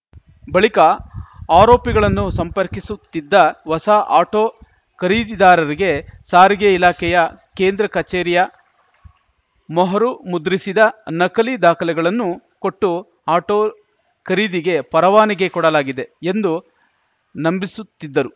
ಬಳಿಕ ಆರೋಪಿಗಳನ್ನು ಸಂಪರ್ಕಿಸುತ್ತಿದ್ದ ಹೊಸ ಆಟೋ ಖರೀದಿದಾರರಿಗೆ ಸಾರಿಗೆ ಇಲಾಖೆಯ ಕೇಂದ್ರ ಕಚೇರಿಯ ಮೊಹರು ಮುದ್ರಿಸಿದ ನಕಲಿ ದಾಖಲೆಗಳನ್ನು ಕೊಟ್ಟು ಆಟೋ ಖರೀದಿಗೆ ಪರವಾನಗಿ ಕೊಡಲಾಗಿದೆ ಎಂದು ನಂಬಿಸುತ್ತಿದ್ದರು